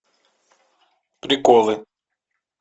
приколы